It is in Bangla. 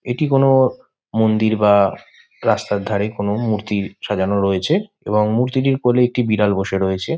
এটি কোন মন্দির বা রাস্তার ধারে কোন মূর্তি সাজানো রয়েছে। এবং ? মূর্তিটির কোলে একটি বিড়াল বসে রয়েছে।